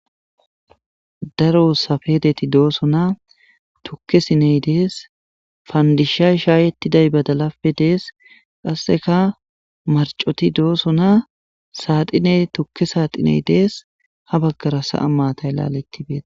daro safedeti dooso na tukke siney dees faandisha shaayettiday badalape dees qasseka marcoti dooso na saaxiney tukke saaxiney dees ha baggara sa7a maatay laalettibeeta